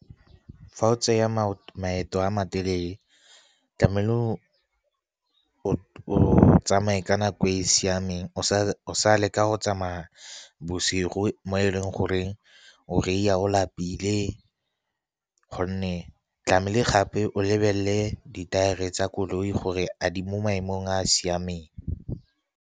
Fa o tsaya maeto a matelele, tlamehile o tsamaye ka nako e e siameng, o sa leka go tsamaya bosigo, mo e leng goreng o reiya o lapile, gonne tlamehile gape o lebelele ditaere tsa koloi gore a di mo maemong a a siameng.